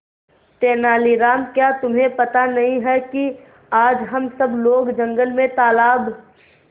तेनालीराम क्या तुम्हें पता नहीं है कि आज हम सब लोग जंगल में तालाब